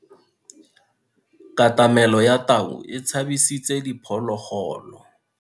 Katamelo ya tau e tshabisitse diphologolo.